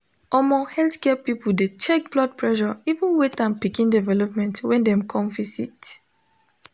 omo healthcare people de check blood pressure even weight and pikin development when dem come visit